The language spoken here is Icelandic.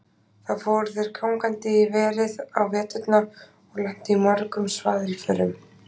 Þá fóru þeir gangandi í verið á veturna og lentu í mörgum svaðilförum.